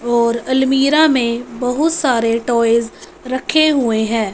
और अलमीरा में बहुत सारे टॉयज रखे हुए हैं।